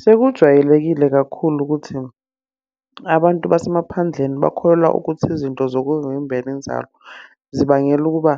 Sekujwayelekile kakhulu ukuthi, abantu basemaphandleni bakholelwa ukuthi izinto zokuvimbela inzalo zibangela ukuba